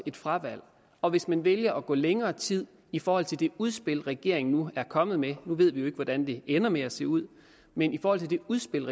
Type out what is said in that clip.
et fravalg og hvis man vælger at gå længere tid i forhold til det udspil regeringen nu er kommet med nu ved vi jo ikke hvordan det ender med at se ud men i forhold til det udspil